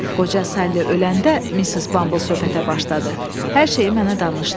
Qoca Sally öləndə, Missis Bumble söhbətə başladı: “Hər şeyi mənə danışdı.